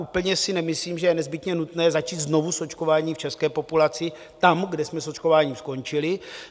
Úplně si nemyslím, že je nezbytně nutné začít znovu s očkováním v české populaci tam, kde jsme s očkováním skončili.